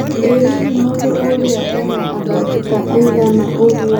ĩ hihi mũndũ ũrĩa ena athaki ta aĩgana ũnguo